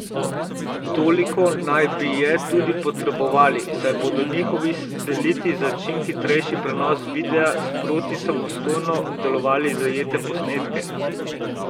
Toliko naj bi je tudi potrebovali, saj bodo njihovi sateliti za čim hitrejši prenos videa sproti samostojno obdelovali zajete posnetke.